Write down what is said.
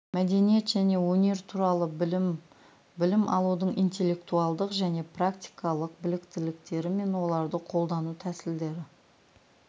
мәдениет және өнер туралы білім білім алудың интеллектуалдық және практикалық біліктіліктері мен оларды қолдану тәсілдері